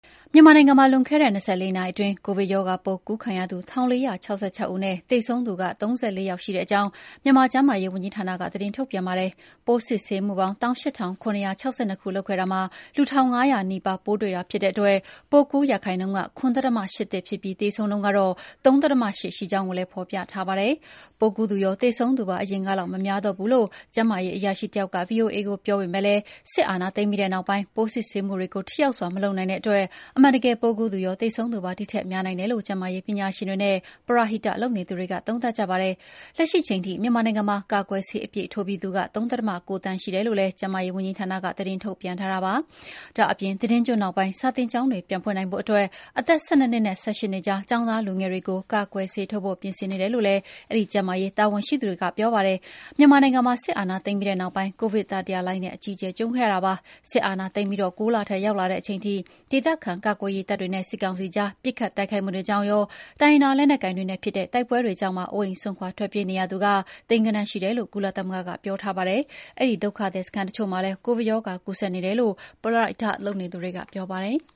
မြန်မာနိုင်ငံမှာ လွန်ခဲ့တဲ့ ၂) နာရီအတွင်း ကိုဗစ်ရောဂါပိုးကူးခံရသူ ၁,၄၆၆ ဦးနဲ့ သေဆုံးသူ ၃၄ ယောက် ရှိကြောင်း ကျန်းမာရေးဝန်ကြီးဌာနကသတင်းထုတ်ပြန်ပါတယ်။ ပိုးစစ်ဆေးမှုပေါင်း ၁၈,၇၆၂ ခုလုပ်ခဲ့တာမှာ လူ ၁,၅၀၀ နီးပါး ပိုးတွေ့တာဖြစ်တဲ့အတွက် ပိုးကူးရာခိုင်နှုန်းက ၇.၈၁ ဖြစ်ပြီးသေဆုံးနှုန်းက ၃.၈% ရှိကြောင်းကိုလည်း ဖော်ပြထားတာပါ။ ပိုးကူးသူရောသေဆုံးသူပါ အရင်ကလောက် မများတော့ဘူးလို့ ကျန်းမာရေးအရာရှိတယောက်က ဗွီအိုအေကိုပြောပေမယ့်လည်း စစ်အာဏာသိမ်းပြီးနောက်ပိုင်း ပိုးစစ်ဆေးမှုတွေကို ထိရောက်စွာမလုပ်နိုင်တဲ့အတွက် အမှန်တကယ်ပိုးကူးသူရော၊ သေဆုံးသူပါ ဒီထက်များနိုင်တယ်လို့ ကျန်းမာရေးပညာရှင်တွေနဲ့ ပရဟိတလုပ်နေသူတွေက သုံးသပ်ကြပါတယ်။ လက်ရှိချိန်ထိ မြန်မာနိုင်ငံမှာ ကာကွယ်ဆေး အပြည့်ထိုးပြီးသူ ၃.၉ သန်းရှိတယ်လို့ ကျန်းမာရေးဝန်ကြီးဌာနက သတင်းထုတ်ပြန်ထားတာပါ။ ဒါ့အပြင် သီတင်းကျွတ်နောက်ပိုင်း စာသင်ကျောင်းတွေပြန်ဖွင့်နိုင်ဖို့ အသက် ၁၂ နှစ်နဲ့ ၁၈ နှစ်ကြား ကျောင်းသားလူငယ်တွေကို ကာကွယ်ဆေးထိုးဖို့ ပြင်ဆင်နေတယ်လို့ အဲဒီကျန်းမာရေးတာဝန်ရှိသူက ပြောပါတယ်။ မြန်မာနိုင်ငံမှာ စစ်အာဏာသိမ်းပြီးနောက်ပိုင်း ကိုဗစ်တတိယလှိုင်းနဲ့ အကြီးအကျယ်ကြုံခဲ့ရတာပါ။စစ်အာဏာသိမ်းပြီး၉ လထဲရောက်လာတဲ့အထိ ဒေသခံကာကွယ်ရေးတပ်တွေနဲ့ စစ်ကောင်စီကြား ပစ်ခတ်တိုက်ခိုက်မှုတွေကြောင့်ရော တိုင်းရင်းသား လက်နက်ကိုင်တွေနဲ့ဖြစ်တဲ့တိုက်ပွဲတွေကြောင့်ပါ အိုးအိမ်စွန့်ခွါထွက်ပြေးနေရသူ သိန်းဂဏ္ဍန်း ရှိတယ်လို့ ကုလသမဂ္ဂကပြောထားပါတယ်။ အဲဒီ ဒုက္ခသည်စခန်းတချို့မှာလည်း ကိုဗစ်ရောဂါကူးစက်နေတယ်လို့ ပရဟိတလုပ်နေသူတွေက ပြောကြပါတယ်။